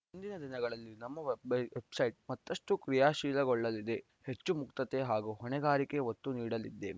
ಮುಂದಿನ ದಿನಗಳಲ್ಲಿ ನಮ್ಮ ವೆಬ್‌ಸೈಟ್‌ ಮತ್ತಷ್ಟು ಕ್ರಿಯಾಶೀಲಗೊಳ್ಳಲಿದೆ ಹೆಚ್ಚು ಮುಕ್ತತೆ ಹಾಗೂ ಹೊಣೆಗಾರಿಕೆಗೆ ಒತ್ತು ನೀಡಲಿದ್ದೇವೆ